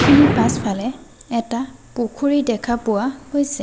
মানুহখিনিৰ পাছফালে এটা পুখুৰী দেখা পোৱা গৈছে।